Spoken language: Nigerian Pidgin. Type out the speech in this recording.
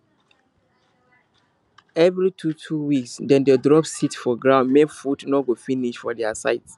every twotwo weeks dem dey drop seed for ground make food no go finish for their side